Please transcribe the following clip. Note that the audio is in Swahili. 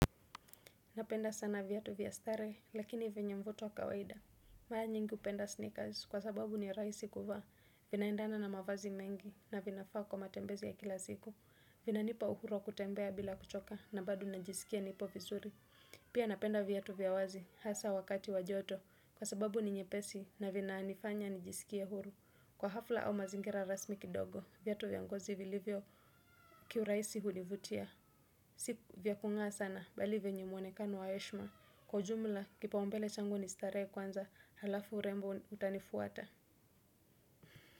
Napenda sana vyatu via staree, lakini venye mvuto wa kawaida. Maa nyingi upenda sneakers, kwa sababu ni raisi kuvaa. Vinaendana na mavazi mengi, na vinafaa kwa matembezi ya kila siku. Vinanipa uhuru wa kutembea bila kuchoka, na bado najiskia nipo vizuri. Pia napenda vyatu vya wazi, hasa wakati wa joto. Kwa sababu ni nyepesi, na vinanifanya nijisikie huru. Kwa hafla au mazingira rasmi kidogo, vyatu vya ngozi vilivyo kiuraisi hunivutia. Sipu vya kungaa sana bali venye mwonekano wa eshma. Kwa ujumla kipa umbele changu ni staree kwanza halafu rembo utanifuata.